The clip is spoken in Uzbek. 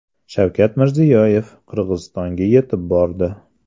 Shavkat Mirziyoyev Qirg‘izistonga yetib bordi.